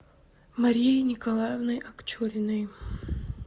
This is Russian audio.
марией николаевной акчуриной